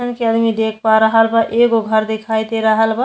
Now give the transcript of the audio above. जइसन कि आदमी देख पा रहल बा एगो घर दिखाई दे रहल बा।